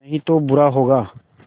नहीं तो बुरा होगा